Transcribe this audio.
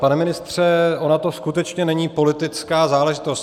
Pane ministře, ona to skutečně není politická záležitost.